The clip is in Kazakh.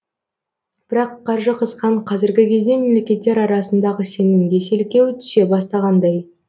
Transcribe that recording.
бірақ қаржы қысқан қазіргі кезде мемлекеттер арасындағы сенімге селкеу түсе бастағандай